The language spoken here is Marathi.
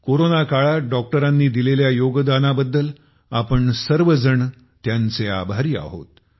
कोरोना काळात डॉक्टरांनी दिलेल्या योगदानाबद्दल आपण सर्वजण त्यांचे आभारी आहोत